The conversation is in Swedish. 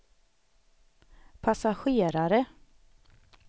passagerare